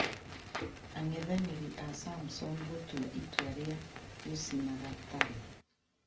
angethanĩri a samson gũtua itua rĩa gũcina gatarũ